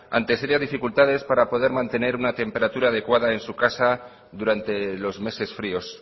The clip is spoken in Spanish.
ante serias dificultades para poder mantener una temperatura adecuada en su casa durante los meses fríos